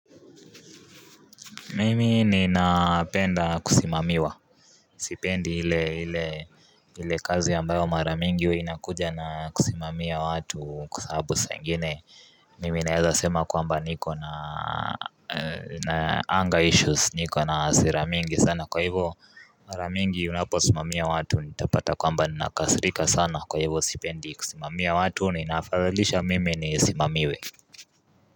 Mimi ninapenda kusimamiwa Sipendi hile hile hile kazi ambayo mara mingi inakuja na kusimamiwa watu kusahabu sangine mimi naeza sema kwamba niko na na anger issues niko na hasira mingi sana kwa hivo mara mingi unaposimamiwa watu nitapata kwamba ninakasirika sana kwa hivo sipendi kusimamiwa watu ni inafadhalisha mimi ni simamiwe.